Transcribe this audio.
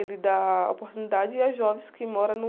Ele dá oportunidade a jovens que moram no...